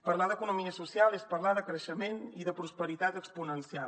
parlar d’economia social és parlar de creixement i de prosperitat exponencial